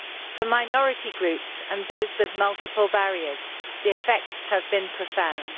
For minority groups and those with multiple barriers, the effects have been profound.